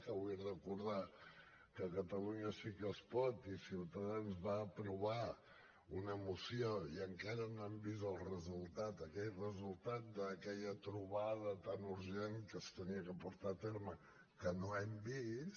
que vull recordar que catalunya sí que es pot i ciutadans vam aprovar una moció i encara no hem vist el resultat d’aquella trobada tan urgent que s’havia de portar a terme que no hem vist